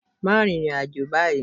Má rin ìrìn àjò báyìí.